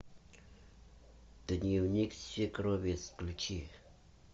дневник свекрови включи